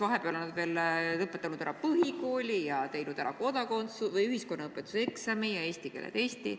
Vahepeal on nad lõpetanud ära põhikooli ja teinud ära ühiskonnaõpetuse eksami ja eesti keele testi.